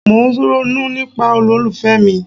Mo ń ronú nípa olólùfẹ́ mi.